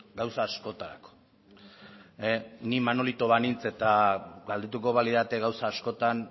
gauza askotarako ni manolito banintz eta galdetuko balidate gauza askotan